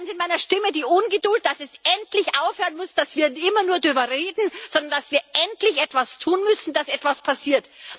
Sie hören in meiner Stimme die Ungeduld, dass es endlich aufhören muss, dass wir immer nur darüber reden, sondern wir müssen endlich etwas tun, dass etwas passiert.